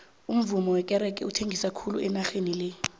umuvummo wekerege uthengisa khulu enageni le